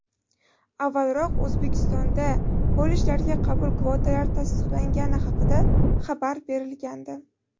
Avvalroq O‘zbekistonda kollejlarga qabul kvotalari tasdiqlangani haqida xabar berilgandi .